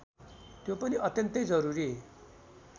त्यो पनि अत्यन्तै जरूरी